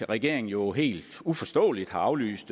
regeringen jo helt uforståeligt har aflyst